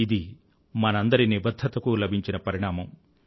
ఇది మనందరి నిబధ్ధతకూ లభించిన పరిణామం